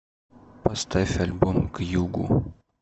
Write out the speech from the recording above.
поставь альбом к югу